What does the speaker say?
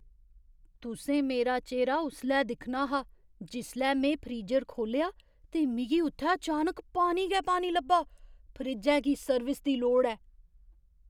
तुसें मेरा चेह्रा उसलै दिक्खना हा जिसलै में फ्रीजर खोह्लेआ ते मिगी उत्थै चानक पानी गै पानी लब्भा। फ्रिज्जै गी सर्विस दी लोड़ ऐ।